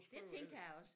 Det tænker jeg også